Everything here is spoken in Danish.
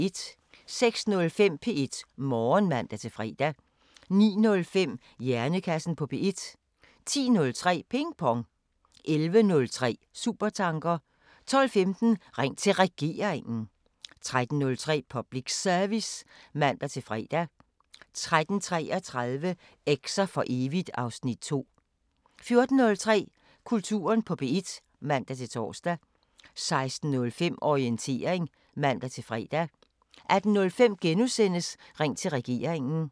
06:05: P1 Morgen (man-fre) 09:05: Hjernekassen på P1 10:03: Ping Pong 11:03: Supertanker 12:15: Ring til Regeringen 13:03: Public Service (man-fre) 13:33: Eks'er for evigt (Afs. 2) 14:03: Kulturen på P1 (man-tor) 16:05: Orientering (man-fre) 18:05: Ring til Regeringen *